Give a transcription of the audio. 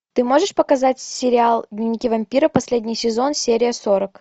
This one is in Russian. ты можешь показать сериал дневники вампира последний сезон серия сорок